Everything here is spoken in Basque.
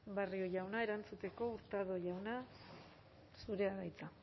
barrio jauna erantzuteko hurtado jauna zurea da hitza